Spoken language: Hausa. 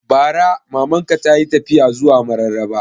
Bara Maman ka tayi tafiya zuwa Mararaba